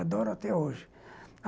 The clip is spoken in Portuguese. Adoro até hoje.